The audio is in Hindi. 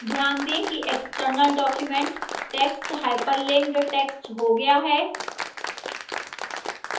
ध्यान दें कि external document text hyperlinked text हो गया है